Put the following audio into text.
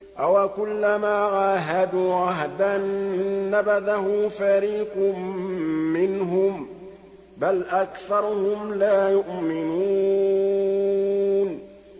أَوَكُلَّمَا عَاهَدُوا عَهْدًا نَّبَذَهُ فَرِيقٌ مِّنْهُم ۚ بَلْ أَكْثَرُهُمْ لَا يُؤْمِنُونَ